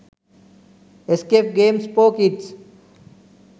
escape games for kids